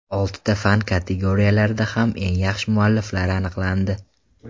Oltita fan kategoriyalarida ham eng yaxshi mualliflar aniqlandi.